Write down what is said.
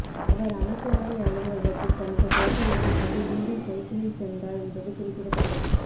அவர் அமைச்சரவை அலுவலகத்தில் தனது பொறுப்பை ஏற்றுக்கொண்டு மீண்டும் சைக்கிளில் சென்றார் என்பது குறிப்பிடத்தக்கது